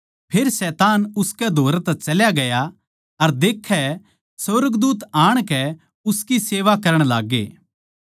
फेर शैतान उसकै धोरै तै चल्या ग्या अर देख्ये सुर्गदूत आणकै उसकी सेवा करण लाग्गे